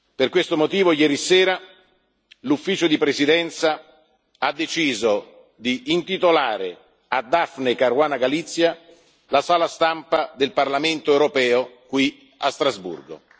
Per questo motivo ieri sera l'Ufficio di presidenza ha deciso di intitolare a Daphne Caruana Galizia la sala stampa del Parlamento europeo qui a Strasburgo.